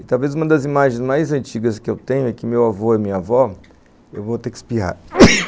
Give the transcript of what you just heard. E talvez uma das imagens mais antigas que eu tenho é que meu avô e minha avó... Eu vou ter que espirrar.